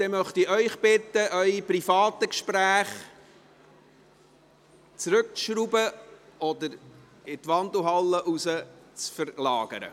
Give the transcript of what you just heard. – Weiter möchte ich Sie bitten, Ihre privaten Gespräche zurückzuschrauben oder in die Wandelhalle zu verlagern.